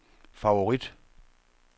favorit